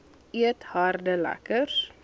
eet harde lekkers